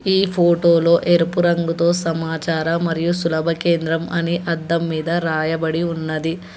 ఈ ఫోటో లో ఎరుపు రంగుతో సమాచారం మరియు సులభ కేంద్రం అని అద్దం మీద రాయబడి ఉన్నది.